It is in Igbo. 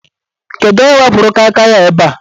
Kedụ onye wepuru Kai Kai a ebe a?